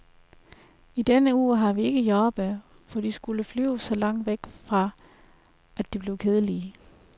I denne uge har vi ikke jordbær, for de skulle flyves så langt væk fra, at de blev kedelige.